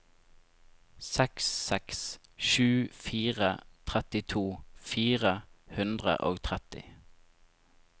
seks seks sju fire trettito fire hundre og tretti